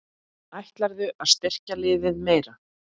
Ætlarðu að styrkja liðið meira?